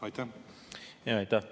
Aitäh!